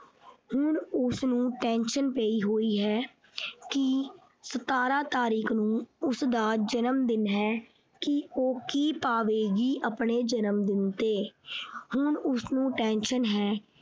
ਹੁਣ ਉਸਨੂੰ tension ਪਈ ਹੋਈ ਹੈ ਕਿ ਸਤਾਰਾਂ ਤਾਰੀਕ ਨੂੰ ਉਸਦਾ ਜਨਮਦਿਨ ਹੈ ਕਿ ਉਹ ਕੀ ਪਾਵੇਗੀ ਆਪਣੇ ਜਨਮਦਿਨ ਤੇ ਹੁਣ ਉਸਨੂੰ tension ਹੈ।